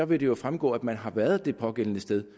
vil det jo fremgå at man har været det pågældende sted